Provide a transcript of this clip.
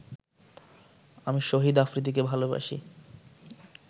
আমি শহীদ আফ্রিদিকে ভালোবাসি